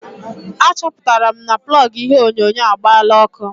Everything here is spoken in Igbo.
Achọpụtara m na plọgụ ihe onyonyo agbaala ọkụ.